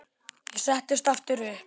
Ég settist aftur upp.